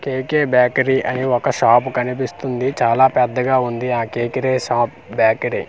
KK bakery అని ఒక shop కనిపిస్తుంది చాలా పెద్దగా ఉంది ఆ కే క్రె షాప్ .